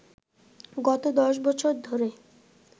গত দশ বছর ধরে